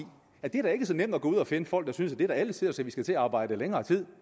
at det da ikke er så nemt at gå ud og finde folk der synes at det er alle tiders at vi skal til at arbejde i længere tid